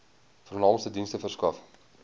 vernaamste dienste verskaf